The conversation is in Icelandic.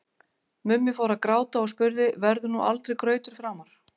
Mummi fór að gráta og spurði: Verður nú aldrei grautur framar?